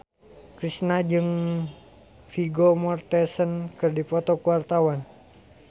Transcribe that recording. Kristina jeung Vigo Mortensen keur dipoto ku wartawan